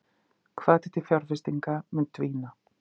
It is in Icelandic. Hvati til fjárfestinga mun dvína